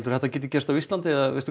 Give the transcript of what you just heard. þetta gerist á Íslandi eða veistu